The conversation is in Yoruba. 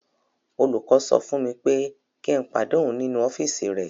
Olùkọ́ sọ fún mi pé kí n pàdé òun nínú ọ́fíìsì rẹ̀.